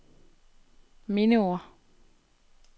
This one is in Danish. mindeord